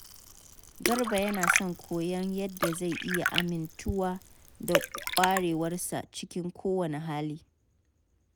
Garba yana son koyon yadda zai iya amintuwa da ƙwarewarsa cikin kowane hali.